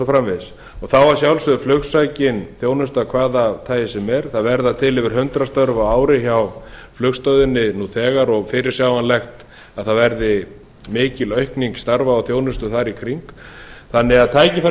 framvegis þá að sjálfsögðu flugsækin þjónusta af hvaða tagi sem er það verða til yfir hundrað störf á ári hjá flugstöðinni nú þegar og fyrirsjáanlegt að það verði mikil aukning starfa og þjónustu þar í kring þannig að tækifærin